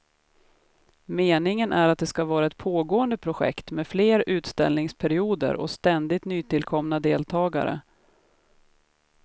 Meningen är att det ska vara ett pågående projekt med fler utställningsperioder och ständigt nytillkomna deltagare.